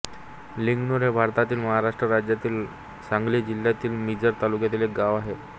लिंगणूर हे भारतातील महाराष्ट्र राज्यातील सांगली जिल्ह्यातील मिरज तालुक्यातील एक गाव आहे